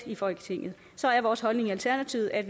i folketinget så er vores holdning i alternativet at